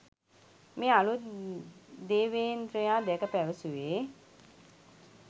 මේ අලුත් දේවේන්ද්‍රයා දැක පැවසුවේ